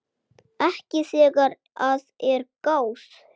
Ekki þegar að er gáð.